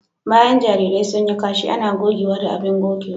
Bayan jarirai sun yi kashi ana gogewa da abin gogewa.